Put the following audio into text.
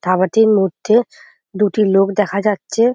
ধাবাটির মধ্যে দুটি লোক দেখা যাচ্ছে।